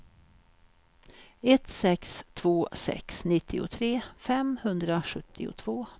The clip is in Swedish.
ett sex två sex nittiotre femhundrasjuttiotvå